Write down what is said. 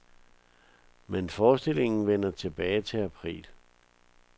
Men forestillingen vender tilbage til april.